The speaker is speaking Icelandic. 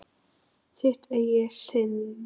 Þitt eigið sinnep!